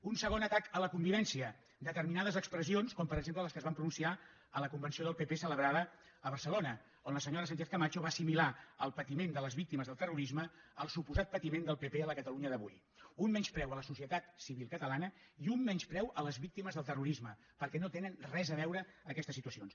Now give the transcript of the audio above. un segon atac a la convivència determinades expressions com per exemple les que es van pronunciar a la convenció del pp celebrada a barcelona on la senyora sánchezcamacho va assimilar el patiment de les víctimes del terrorisme al suposat patiment del pp a la catalunya d’avui un menyspreu a la societat civil catalana i un menyspreu a les víctimes del terrorisme perquè no tenen res a veure aquestes situacions